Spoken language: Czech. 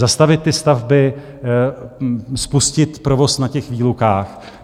Zastavit stavby a spustit provoz na těch výlukách?